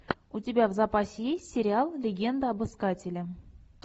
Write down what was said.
у тебя в запасе есть сериал легенда об искателе